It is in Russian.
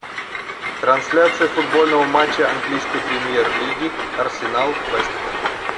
трансляция футбольного матча английской премьер лиги арсенал вест хэм